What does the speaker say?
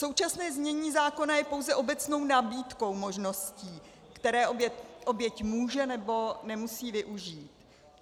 Současné znění zákona je pouze obecnou nabídkou možností, které oběť může, nebo nemusí využít.